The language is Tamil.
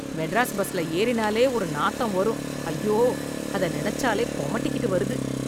மெட்ராஸ் பஸ்ல ஏறினாலே ஒரு நாத்தம் வரும் ஐயோ அத நினச்சாலே குமட்டிக்கிட்டு வருது.